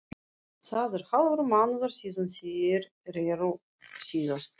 Það er hálfur mánuður síðan þeir reru síðast.